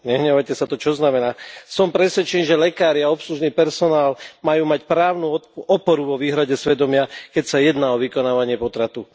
Nehnevajte sa, to čo znamená? Som presvedčený, že lekári a obslužný personál majú mať právnu oporu vo výhrade svedomia, keď sa jedná o vykonávanie potratu.